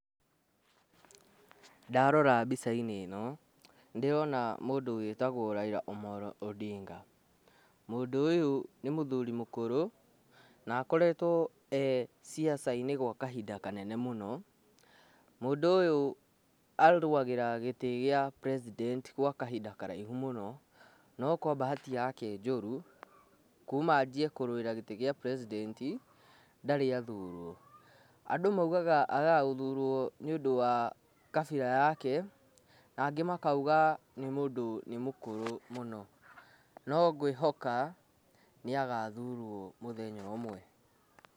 Ndarora mbĩca-inĩ ĩno nĩndĩrona mũndũ wĩtagwo Raila Amollo Ondinga. Mũndũ ũyũ nĩ mũthuri mũkũrũ na akoretwo e ciaca -inĩ gwa kahinda kanene mũno. Mũndũ ũyũ arũwagĩra gĩtĩ gĩa president gwa kahinda karaĩhu mũno, no kwa bahatĩ yake njũru kuma anjĩe kũrũwĩra gĩtĩ gĩa president ndarĩ athurwo. Andũ maũgaga agaga gũthurwo nĩ ũndũ wa kabĩra yake na angĩ makauga nĩ ũndũ nĩ mũkũrũ mũno. No gwĩhoka nĩ agathurwo mũthenya ũmwe.